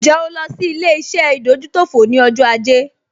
Ǹjẹ́ o lọ sí ilé-iṣẹ́ ìdójútòfò ní ọjọ́ ajé?